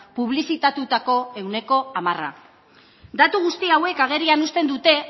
publizitatutako ehuneko hamarra datu guzti hauek agerian uzten dute